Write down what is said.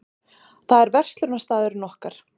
Það er verslunarstaðurinn okkar.